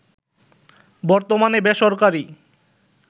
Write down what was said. বর্তমানে বেসরকারি